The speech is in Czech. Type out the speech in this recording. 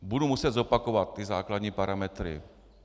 Bubu muset zopakovat ty základní parametry.